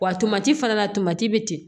Wa tomati fana na tomati bɛ ten